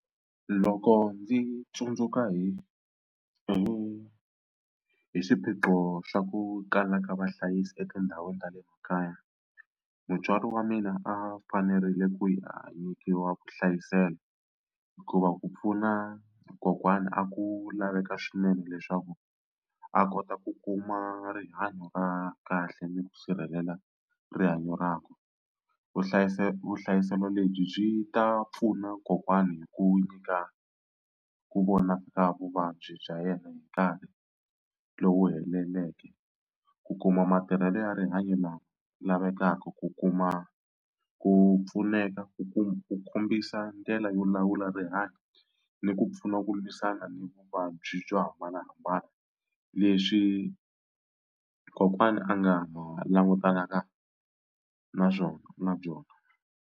Loko ndzi tsundzuka hi hi hi swiphiqo swa ku kalaka vahlayisi etindhawini ta le makaya mutswari wa mina a fanerile ku hi a nyikiwa vuhlayiselo hikuva ku pfuna kokwani a ku laveka swinene leswaku a kota ku kuma rihanyo ra kahle ni ku sirhelela rihanyo rakwe. Vuhlayiselo vuhlayiselo lebyi byi ta pfuna kokwani hi ku nyika ku vona ka vuvabyi bya yena hi nkarhi lowu heleleke, ku kuma matirhelo ya rihanyo la lavekaka, ku kuma ku pfuneka, ku kuma u kombisa ndlela yo lawula rihanyo ni ku pfuna ku lwisana ni vuvabyi byo hambanahambana leswi kokwana a nga langutanaka na swona na byona.